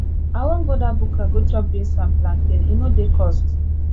i wan go dat buka go chop beans and plantain e no dey cost